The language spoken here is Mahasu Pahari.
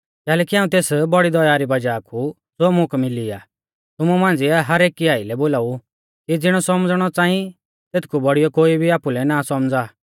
कैलैकि हाऊं तेस बौड़ी दया री वज़ाह कु ज़ो मुकै मिली आ तुमु मांझ़िऐ हरएकी आइलै बोलाऊ कि ज़िणौ सौमझ़णौ च़ांई तेथकु बौड़ियौ कोई भी आपुलै ना सौमझ़ा पर ज़िणौ परमेश्‍वरै हर एकी लै विश्वास नतीज़ै रै मुताबिक बांटी ऐरौ आ तिणी ई सौमझ़दारी आइलै आपु सौमझ़ा